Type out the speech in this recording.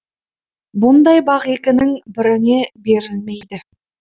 бұндай бақ екінің біріне берілмейді